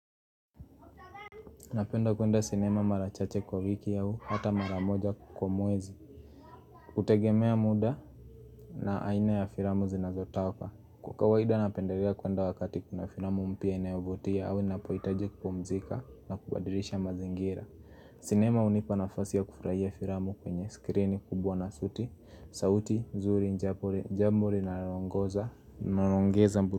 Napenda kuenda sinema marachache kwa wiki au, hata maramoja kwa mwezi. Hutegemea muda na aina ya filamu zinazotoka. Kwa kawaida napendelea kuenda wakati kuna filamu mpya inayovutia au ninapohitaji kupumzika na kubadilisha mazingira. Sinema hunipa nafasi ya kufurahiya filamu kwenye skrini kubwa na sauti, sauti, nzuri, jambo, linaongoza, linaongeza.